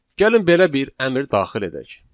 Gəlin belə bir əmr daxil edək.